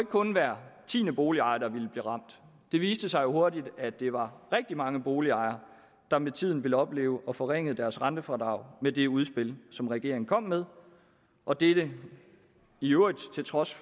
kun hver tiende boligejer der ville blive ramt det viste sig hurtigt at det var rigtig mange boligejere der med tiden ville opleve få forringet deres rentefradrag med det udspil som regeringen kom med og dette i øvrigt til trods